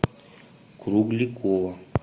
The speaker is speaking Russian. кругликова